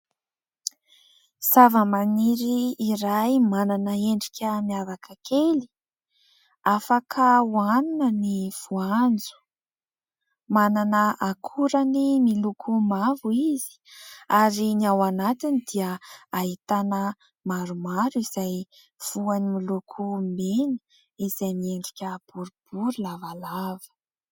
Zavamaniry iray manana endrika hafakely. Afaka hohanina ny voanjo. Manana akorany miloko mavo izy ary ny ao anatiny dia ahitana maromaro izay voany miloko mena izay miendrika boribory lavalava.